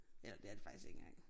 Eller det er det faktisk ikke engang